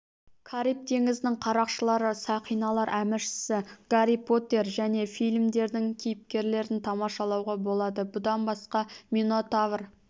кариб теңізінің қарақшылары сақиналар әміршісі гарри поттер және фильмдердің кейіпкерлерін тамашалауға болады бұдан басқа минотавр